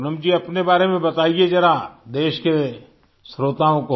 पूनम जी अपने बारे में बताइए जरा देश के श्रोताओं